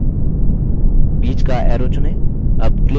बीच का arrow चुनें